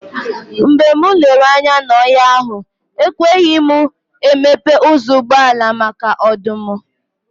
Mgbe m lere anya n'ọhịa ahụ, ekweghị m emepe ụzọ ụgbọala, maka ọdụm.